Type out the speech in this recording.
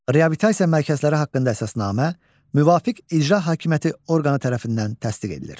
Reabilitasiya mərkəzləri haqqında əsasnamə müvafiq icra hakimiyyəti orqanı tərəfindən təsdiq edilir.